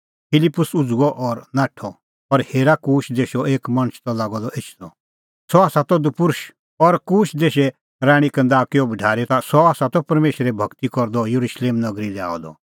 फिलिप्पुस उझ़ुअ और नाठअ और हेरा कूश देशो एक मणछ त लागअ द एछदअ सह त दपुर्षअ और कूश देशे राणीं कंदाकेओ भढारी त सह त परमेशरे भगती करदअ येरुशलेम नगरी लै आअ द